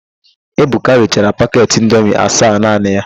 Ebuka richara paket indomi asaa naanị ya.